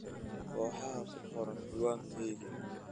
kooxaha ku qoran cinwaankayga